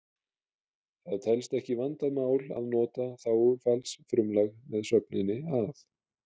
Það telst ekki vandað mál að nota þágufallsfrumlag með sögninni að